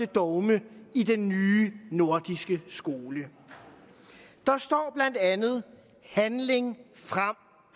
dogme i den nye nordiske skole der står blandt andet handling frem